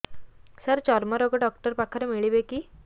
ସାର ଚର୍ମରୋଗ ଡକ୍ଟର ପାଖରେ ମିଳିବେ କି